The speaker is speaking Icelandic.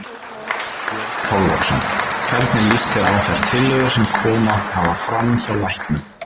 Björn Þorláksson: Hvernig líst þér á þær tillögur sem komið hafa fram hjá læknum?